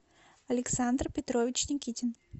александр петрович никитин